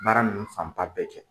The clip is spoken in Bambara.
Baara ninnu fan ba bɛɛ kɛ.